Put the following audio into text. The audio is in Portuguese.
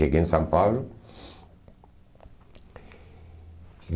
Cheguei em São Paulo.